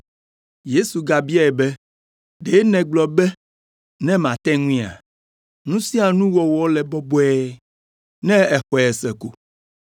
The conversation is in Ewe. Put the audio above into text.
Yesu gabiae be, “Ɖe nègblɔ be ne mate ŋuia? Nu sia nu wɔwɔ le bɔbɔe ne èxɔe se ko.”